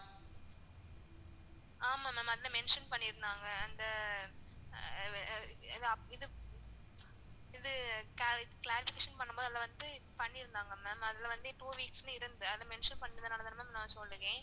ஆமா ma'am அதுல mention பண்ணிருந்தாங்க அந்த அஹ் அஹ் இது cla clarification பண்ணும் போது அதுல வந்து பண்ணிருந்தாங்க ma'am அதுல வந்து two weeks னு இருந்தது அதுல mention பண்ணதுனால தான் நான் சொல்லுறன்.